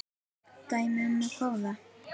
Dæmi um kóða